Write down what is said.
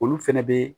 Olu fɛnɛ be